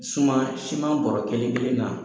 Suman siman bɔrɔ kelen-kelen na